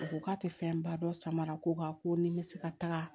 U ko k'a tɛ fɛnba dɔn samara ko wa ko ni n bɛ se ka taga